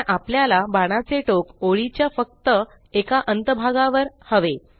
पण आपल्याला बाणाचे टोक ओळीच्या च्या फक्त एका अंत भागावर हवे